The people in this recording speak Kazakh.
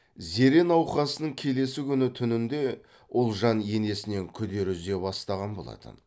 зере науқасының келесі күні түнінде ұлжан енесінен күдер үзе бастаған болатын